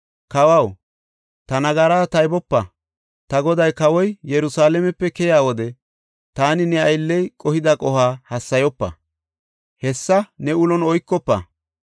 “Kawaw ta nagaraa taybopa. Ta goday, kawoy, Yerusalaamepe keyiya wode taani ne aylley qohida qohuwa hassayopa. Hesaa ne ulon oykofa.